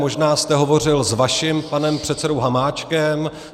Možná jste hovořil s vaším panem předsedou Hamáčkem.